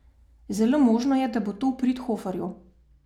Zelo možno je, da bo to v prid Hoferju.